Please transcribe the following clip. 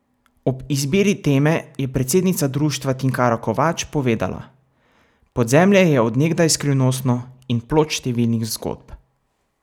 Ob izbiri teme je predsednica društva Tinkara Kovač povedala: "Podzemlje je od nekdaj skrivnostno in plod številnih zgodb.